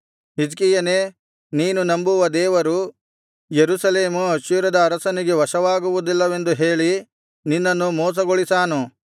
ಹಿಜ್ಕೀಯನೇ ನೀನು ನಂಬುವ ದೇವರು ಯೆರೂಸಲೇಮು ಅಶ್ಶೂರದ ಅರಸನಿಗೆ ವಶವಾಗುವುದಿಲ್ಲವೆಂದು ಹೇಳಿ ನಿನ್ನನ್ನು ಮೋಸಗೊಳಿಸಾನು